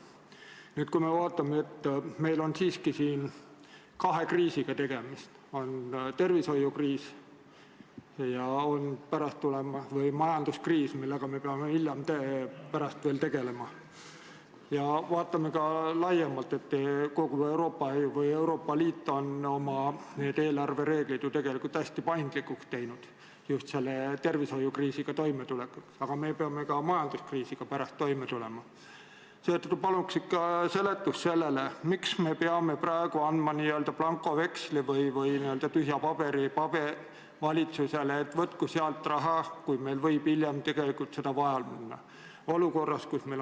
Nüüd, kui me vaatame, et meil on tegemist kahe kriisiga – on tervishoiukriis ja on majanduskriis, millega peame veel hiljemgi tegelema –, ja vaatame ka laiemalt, et kogu Euroopa Liit on oma eelarvereeglid hästi paindlikuks teinud – just selle tervishoiukriisiga toimetulekuks, aga me peame pärast ka majanduskriisiga toime tulema –, siis palun seletage, miks me peame praegu andma valitsusele n-ö blankoveksli või tühja paberi, et võtku sealt raha, kui meil võib hiljem tegelikult seda vaja minna?